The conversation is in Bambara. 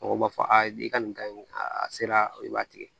Mɔgɔw b'a fɔ ayi i ka nin ka ɲi a sera i b'a tigɛ